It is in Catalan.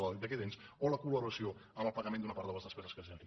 d’aquest ens o la col·laboració en el pagament d’una part de les despeses que es generin